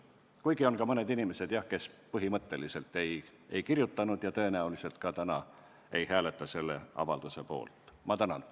Kuigi jah, oli selliseidki inimesi, kes põhimõtteliselt alla ei kirjutanud ja tõenäoliselt ka täna selle avalduse poolt ei hääleta.